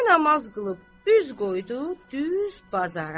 Və namaz qılıb, üz qoydu düz bazara.